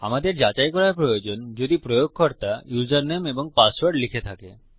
আমাদের যাচাই করা প্রয়োজন যদি প্রয়োগকর্তা ইউসারনেম এবং পাসওয়ার্ড লিখে থাকে